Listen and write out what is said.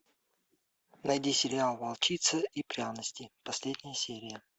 найди сериал волчица и пряности последняя серия